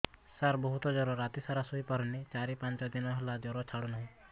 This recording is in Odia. ସାର ବହୁତ ଜର ରାତି ସାରା ଶୋଇପାରୁନି ଚାରି ପାଞ୍ଚ ଦିନ ହେଲା ଜର ଛାଡ଼ୁ ନାହିଁ